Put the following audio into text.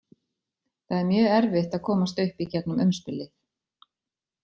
Það er mjög erfitt að komast upp í gegnum umspilið.